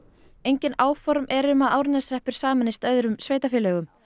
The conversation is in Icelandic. engin áform eru um að Árneshreppur sameinist öðrum sveitarfélögum